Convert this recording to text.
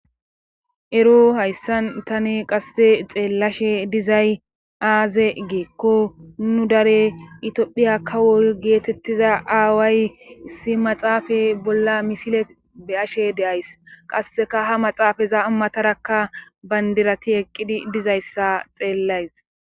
Ero hayssan tani qasse xeellashe dizay aaze geekko nu dare itphiya kawoy geetettiza aaway issi maxaafay bolla misile be ashe deays qasseka ha maxaafaza amatarakka bayndirati eqqidi dizayssa xeellays